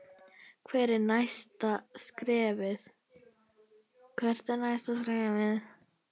Hvert er næsta skrefið?